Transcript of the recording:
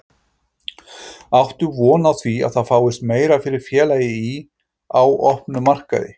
Áttu von á því að það fáist meira fyrir félagið í, á opnum markaði?